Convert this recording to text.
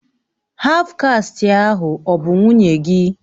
Haf kasti ahụ ọ bụ nwunye gị?